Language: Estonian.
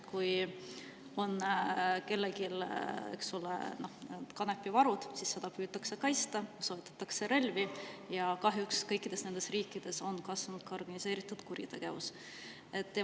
Kui on kellelgi kanepivarud, siis neid püütakse kaitsta, soovitakse relvi ja kahjuks kõikides nendes riikides on kasvanud ka organiseeritud kuritegevus.